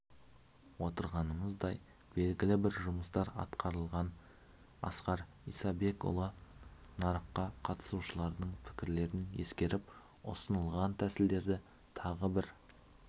отырғанымыздай белгілі бір жұмыстар атқарылған асқар исабекұлы нарыққа қатысушылардың пікірлерін ескеріп ұсынылған тәсілдерді тағы бір